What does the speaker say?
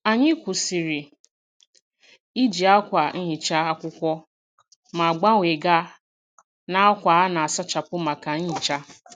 Anyị kwụsịrị iji akwa nhicha akwụkwọ ma gbanwee gaa n'akwa a na-asachapụ maka nhicha.